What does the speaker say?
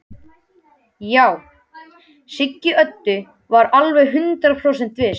Já, Siggi Öddu var alveg hundrað prósent viss.